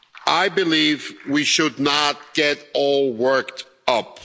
I believe we should not get all worked up.